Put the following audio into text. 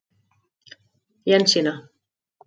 Jensína